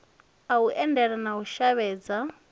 a undele na u shavhedza